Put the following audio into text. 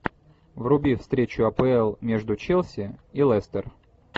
вруби встречу апл между челси и лестер